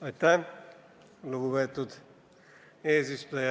Aitäh, lugupeetud eesistuja!